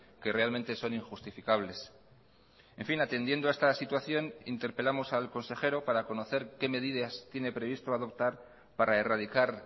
que realmente son injustificables en fin atendiendo a esta situación interpelamos al consejero para conocer qué medidas tiene previsto adoptar para erradicar